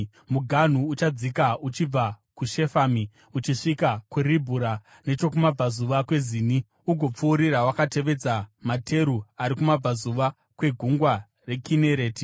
Muganhu uchadzika uchibva nokuShefami uchisvika kuRibhura nechokumabvazuva kweZini ugopfuurira wakatevedza materu ari kumabvazuva kweGungwa reKinereti.